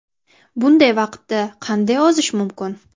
Bunday vaqtda qanday ozish mumkin?